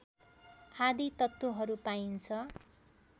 आदि तत्त्वहरू पाइन्छ